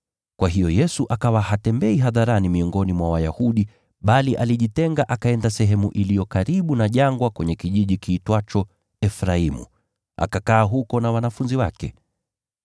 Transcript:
Kwa hiyo Yesu akawa hatembei hadharani miongoni mwa Wayahudi, bali alijitenga akaenda sehemu iliyo karibu na jangwa kwenye kijiji kiitwacho Efraimu. Akakaa huko na wanafunzi wake.